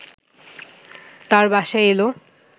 তার বাসায় এল